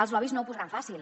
els lobbys no ho posaran fàcil